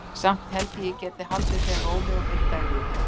Samt held ég að ég geti haldið þeim rólegum einn dag í viðbót.